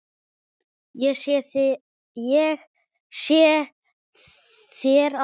Ég segi þér allt.